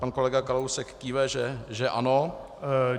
Pan kolega Kalousek kýve, že ano.